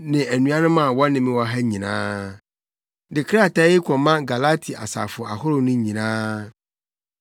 ne anuanom a wɔne me wɔ ha nyinaa, De krataa yi kɔma Galati asafo ahorow no nyinaa: